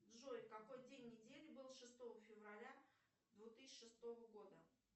джой какой день недели был шестого февраля две тысячи шестого года